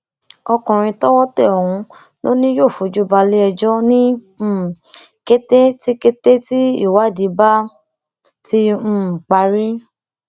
ọkùnrin tọwọ tẹ ọhún lọ ni yóò fojú balẹẹjọ ní um kété tí kété tí ìwádìí bá ti um parí